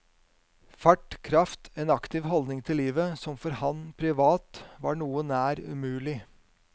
Fart, kraft, en aktiv holdning til livet som for ham privat var noe nær umulig.